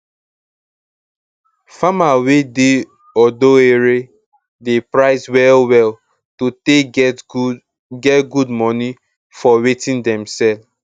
farmer wey dey odo ere dey price well well to take get good get good moni for watin dem sell